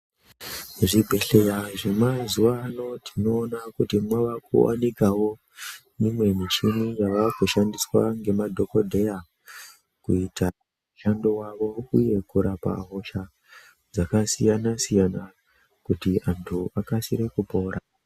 Muzvibhedhleya zvemwazuwa ano tinoona kuti mwava kuwanikawo mimwe michini yakushandiswa ngemadhogodheya mushando wavo uye kurapa hosha dzakasiyana siyana kuti antu akasire kupora.